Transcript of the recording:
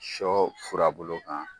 Sɔ furabulu kan